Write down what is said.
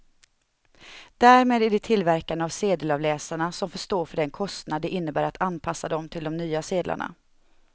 Därmed är det tillverkarna av sedelavläsarna som får stå för den kostnad det innebär att anpassa dem till de nya sedlarna.